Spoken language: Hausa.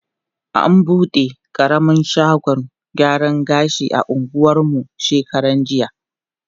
An bude ƙaramar shagon gyaran gashi a anguwan mu shekarar jiya.